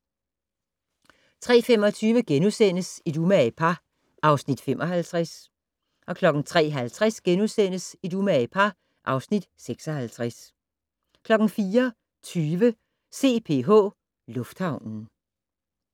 03:25: Et umage par (Afs. 55)* 03:50: Et umage par (Afs. 56)* 04:20: CPH Lufthavnen